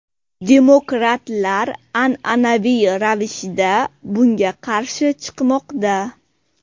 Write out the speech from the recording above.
Demokratlar an’anaviy ravishda bunga qarshi chiqmoqda.